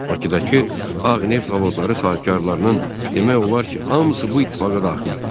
Bakıdakı Ağ Neft zavodları sahibkarlarının demək olar ki, hamısı bu ittifaqa daxil idi.